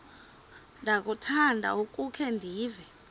ndiyakuthanda ukukhe ndive